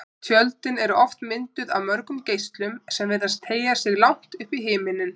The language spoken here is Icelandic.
Tjöldin eru oft mynduð af mörgum geislum sem virðast teygja sig langt upp í himininn.